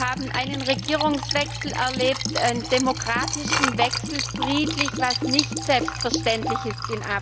Wir haben einen Regierungswechsel erlebt, einen demokratischen Wechsel, friedlich, was in Afrika nicht selbstverständlich ist.